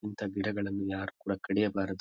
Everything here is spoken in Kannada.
ಇಂತ ಗಿಡಗಳನ್ನು ಯಾರು ಕೂಡ ಕಡಿಯಬಾರದು.